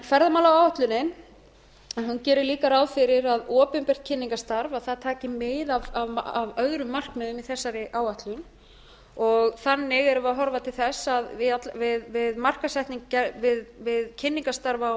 yfir ferðamálaáætlunin gerir líka ráð fyrir að opinbert kynningarstarf taki mið af öðrum markmiðum í þessari áætlun þannig erum við að horfa til þess að við kynningarstarf